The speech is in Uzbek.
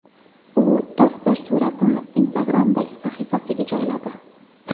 U toster suratini Instagram’dagi sahifasiga joyladi .